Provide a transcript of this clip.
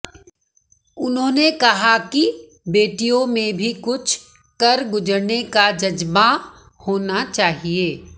उन्होंने कहा कि बेटियों में भी कुछ कर गुजरने का जज्बां होना चाहिए